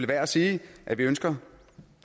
værd at sige at vi ønsker